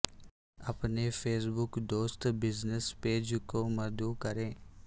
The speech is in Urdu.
اپنے فیس بک دوست بزنس پیج کو مدعو کریں